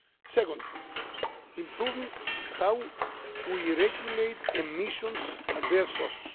Second point improving how we regulate emissions at their source.